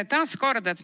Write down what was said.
Aitäh!